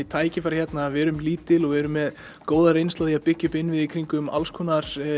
tækifæri hérna við erum lítil og erum með góða reynslu af því að byggja upp innviði í kringum alls konar